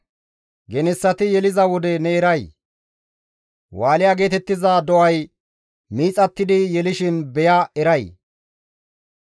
«Genessati yeliza wode ne eray? Wusha geetettiza do7ay miixattidi yelishin beya eray?